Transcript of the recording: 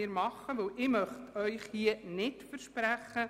Diesen Vorbehalt müssen wir machen.